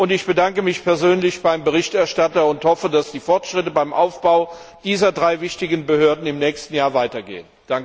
Ich bedanke mich persönlich beim Berichterstatter und hoffe, dass die Fortschritte beim Aufbau dieser drei wichtigen Behörden im nächsten Jahr weitergehen.